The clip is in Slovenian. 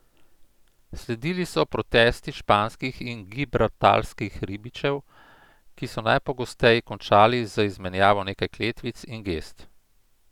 Sledili so protesti španskih in gibraltarskih ribičev, ki so najpogosteje končali z izmenjavo nekaj kletvic in gest.